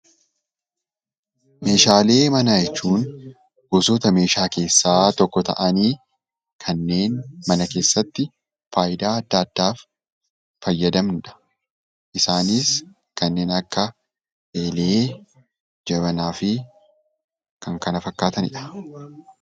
Meeshaalee manaa jechuun gosoota meeshaa keessaa tokko taa'aanii kanneen mana keessatti faayidaa addaa addaaf fayyadanii dha. Isaannis: kanneen akka eelee, jabanaa fi kan kana fakkaatanii dha.